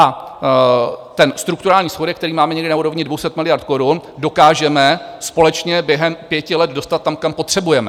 A ten strukturální schodek, který máme někde na úrovni 200 miliard korun, dokážeme společně během pěti let dostat tam, kam potřebujeme.